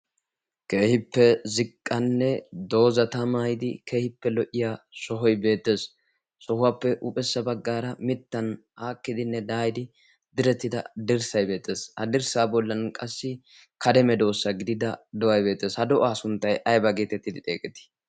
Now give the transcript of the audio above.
kehippe ziqqanne doozata mayidi keehippe lo';'iya sohoy beetees sohuwaappe huuphessa baggaara mittan aakkidinne daayidi direttida dirssay beetees ha dirssaa bollan qassi kareme doossa gidida do'ay beetees ha do'aa sunttay ayba geetettidi xeeqetii